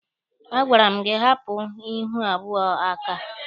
A gwara m gị hapụ onye ihu abụọ a aka!